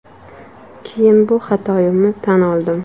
Keyin bu xatoyimni tan oldim.